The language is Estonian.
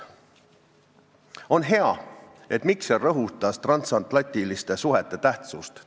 On hea, et Mikser rõhutas transatlantiliste suhete tähtsust.